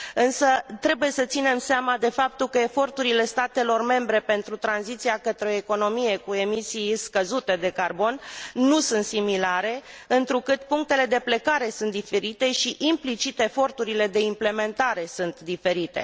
Însă trebuie să ținem seama de faptul că eforturile statelor membre pentru tranziția către o economie cu emisii scăzute de carbon nu sunt similare, întrucât punctele de plecare sunt diferite și, implicit, eforturile de implementare sunt diferite.